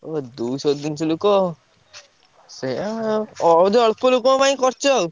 ଓ ଦୁଇଶହ ତିନିଶହ ଲୋକ। ସେୟା ବହୁତ୍ ଅଳ୍ପ ଲୋକଙ୍କ ପାଇଁ କରିଛ ଆଉ।